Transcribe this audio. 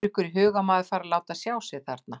Dettur ykkur í hug að maður fari að láta sjá sig þarna?